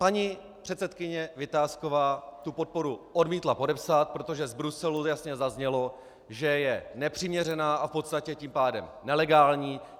Paní předsedkyně Vitásková tu podporu odmítla podepsat, protože z Bruselu jasně zaznělo, že je nepřiměřená a v podstatě tím pádem nelegální.